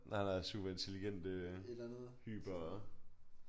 Nej nej superintelligente hyper